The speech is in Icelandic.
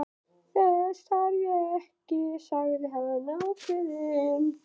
Þess þarf ekki, sagði hann ákveðinn.